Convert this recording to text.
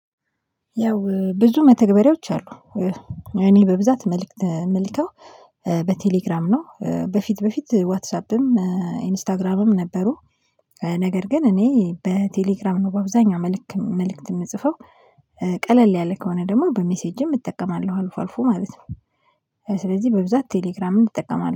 ያው ብዙ መተግበሪያዎች አሉ። እኔ በብዛት መልእክት ምልከው በቴሌግራም ነው። በፊት በፊት ዋትሳፕም ኢንስታግራምም ነበሩ። ነገር ግን እኔ በቴሌግራም ነው በአብዛኛው መልእክት የምጽፈው። ቀለል ያለ ከሆነ ደግሞ በሜሴጅም እጠቀማለሁ አልፎ አልፎ ማለት ነው። ስለዚህ በብዛት ቴሌግራምን እጠቀማለሁ